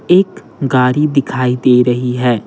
एक गाड़ी दिखाई दे रही है।